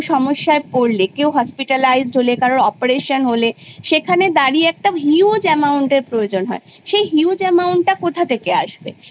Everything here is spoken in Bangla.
কেউ সমস্যায় পড়লে কেউ hospitalised হলে কারুর কোন operation হলে সেখানে দাঁড়িয়ে একটা huge amount এর প্রয়োজন হয়। সেই huge amount কোথা থেকে আসবে